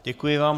Děkuji vám.